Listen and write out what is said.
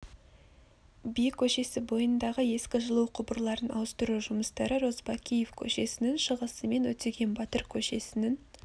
би көшесі бойындағы ескі жылу құбырларын ауыстыру жұмыстары розыбакиев көшесінің шығысы мен өтеген батыр көшесінің